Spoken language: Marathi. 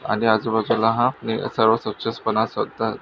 आणि आजूबाजूला हा सर्व स्वछपणा --